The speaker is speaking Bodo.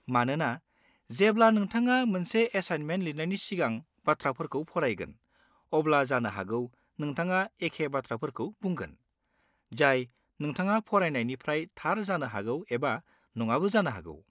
मानोना जेब्ला नोंथाङा मोनसे एसाइनमेन्ट लिरनायनि सिगां बाथ्राफोरखौ फरायगोन, अब्ला जानो हागौ नोंथाङा एखे बाथ्राफोरखौ बुंगोन, जाय नोंथाङा फरायनायनिफ्राय थार जानो हागौ एबा नङाबो जानो हागौ।